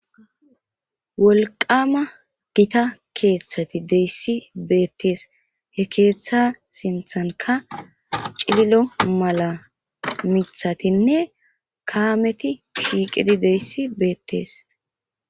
wolqama gita keeththati deyssi beettees he keeththa sinthanka cililo mala mithatinne kaameti shiiqidi deyssi beettees